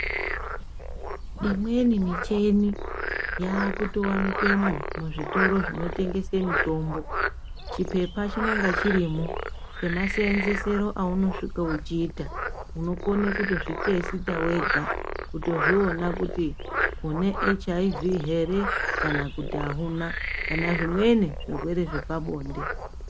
Imweni michini yaaku towanikwemwo muzvitoro zvino tengese mitombo, chipepa chinonga chirimwo chema seenzese ro aunosvika uchiita. Unokone kutozvitesita wega kuto zviona kuti une HIV here kana kuti hauna, kana zvimweni zvirwere zvepabonde.